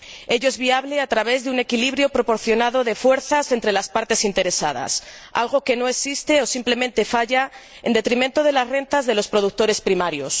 Ello es viable a través de un equilibrio proporcionado de fuerzas entre las partes interesadas, algo que no existe o simplemente falla, en detrimento de las rentas de los productores primarios.